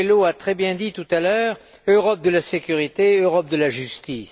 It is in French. Coelho l'a très bien dit tout à l'heure Europe de la sécurité, Europe de la justice.